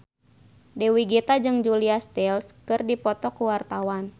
Dewi Gita jeung Julia Stiles keur dipoto ku wartawan